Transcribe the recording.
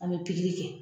An bɛ pikiri kɛ